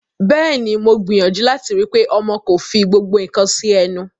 Bẹ́ẹ̀ ni, mo gbìyàjú láti rí i pé ọmọ kò fí gbogbo nǹkan sí ẹnu.